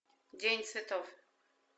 день цветов